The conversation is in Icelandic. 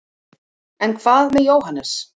en hvað með jóhannes